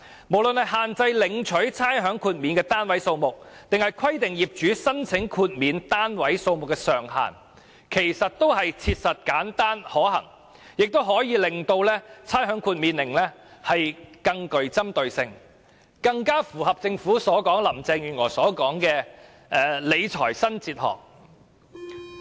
無論是限制領取差餉豁免的單位數目，或是規定業主須申請豁免單位數目的上限，均切實、簡單、可行，亦可令差餉豁免更能針對有需要的人，更符合政府和林鄭月娥所說的"理財新哲學"。